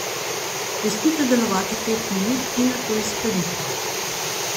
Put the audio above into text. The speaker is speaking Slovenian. Pustite delovati pet minut in nato izperite.